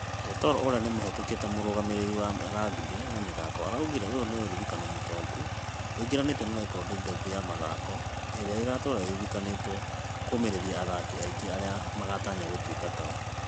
Yator ũrĩa nĩ mũhĩtũkie ta mũrutani wa rugby na mĩthako araugire ũyũ nĩ ũririkana mũtongu ũingĩranĩtio na rekodi ndongu ya mathomk ĩrĩ ĩgatũra ĩririkanĩtwo kũmereria athaki aingĩ arĩa magatanya gũtuĩka tao